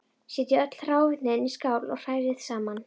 Setjið öll hráefnin í skál og hrærið saman.